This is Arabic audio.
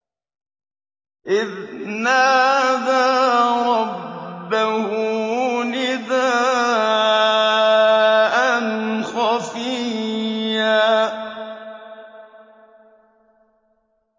إِذْ نَادَىٰ رَبَّهُ نِدَاءً خَفِيًّا